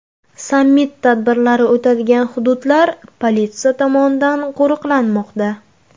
Sammit tadbirlari o‘tadigan hududlar politsiya tomonidan qo‘riqlanmoqda.